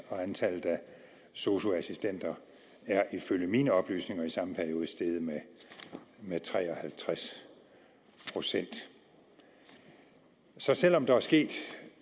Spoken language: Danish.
og antallet af sosu assistenter er ifølge mine oplysninger i samme periode steget med med tre og halvtreds procent så selv om der er sket